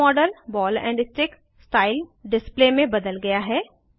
अब model ball and stick style display में बदल गया है